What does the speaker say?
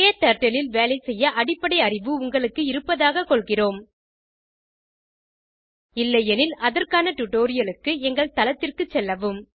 க்டர்ட்டில் ல் வேலைசெய்ய அடிப்படை அறிவு உங்களுக்கு இருப்பதாகக் கொள்கிறோம் இல்லையெனில் அதற்கான டுடோரியலுக்கு எங்கள் தளத்திற்கு செல்லவும்